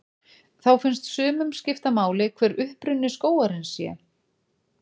Þá finnst sumum skipta máli hver uppruni skógarins sé.